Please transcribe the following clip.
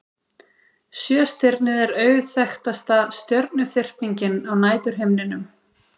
Sjöstirnið er auðþekktasta stjörnuþyrpingin á næturhimninum.